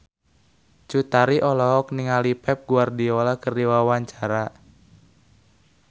Cut Tari olohok ningali Pep Guardiola keur diwawancara